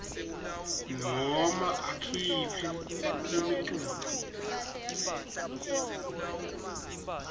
noma akhiphe imiculu